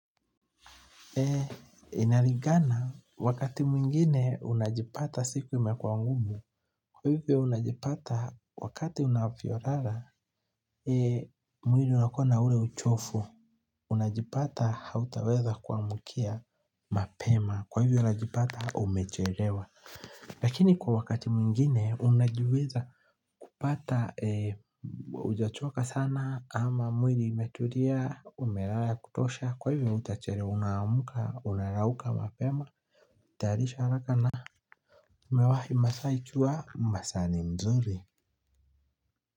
Inalingana wakati mwingine unajipata siku imekuwa ngumu kwa hivyo unajipata wakati unavyolala mwili unakuwa na ule uchovu. Unajipata hautaweza kuamkia mapema kwa hivyo unajipata umechelewa lakini kwa wakati mwingine unajiweza kupata hujachoka sana ama mwili imetulia umelala ya kutosha kwa hivyo hutachelewa unaamka unarauka mapema. Tayarisha haraka na umewahi masaa ni jua masaa ni mzuri.